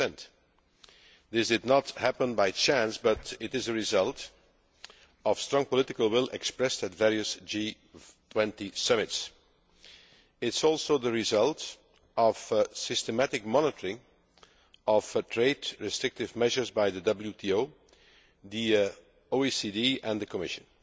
10. This did not happen by chance, but is a result of strong political will expressed at various G20 summits. It is also the result of systematic monitoring of trade restrictive measures by the WTO, the OECD and the Commission.